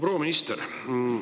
Proua minister!